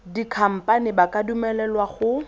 dikhamphane ba ka dumelelwa go